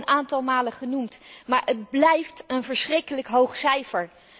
Het is al een aantal malen genoemd, maar het blijft een verschrikkelijk hoog cijfer.